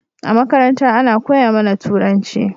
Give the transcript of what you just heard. A makaranta Ana koya mAna turanci